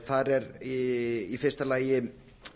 þar er í fyrsta lagi